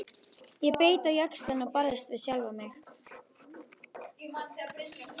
Ég beit á jaxlinn og barðist við sjálfa mig.